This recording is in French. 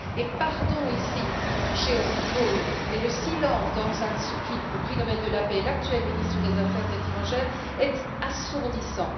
Et pardon de toucher ici aux icônes, mais le silence d'Aung San Suu Kyi, le prix Nobel de la paix et l'actuel ministre des affaires étrangères, est assourdissant!